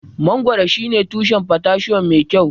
Mangoro shine tushen potassium mai kyau.